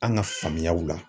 An ka faamuyaw la